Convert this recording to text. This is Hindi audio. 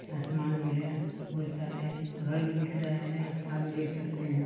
आसमान भी है बहुत सारे घर भी दिख रहे है यहाँ भी देख सकते है।